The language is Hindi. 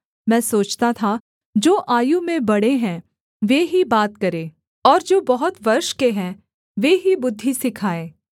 मैं सोचता था जो आयु में बड़े हैं वे ही बात करें और जो बहुत वर्ष के हैं वे ही बुद्धि सिखाएँ